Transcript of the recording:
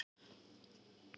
Ófært er á Breiðdalsheiði